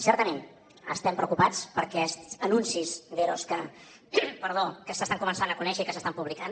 certament estem preocupats per aquests anuncis d’eros que s’estan començant a conèixer i que s’estan publicant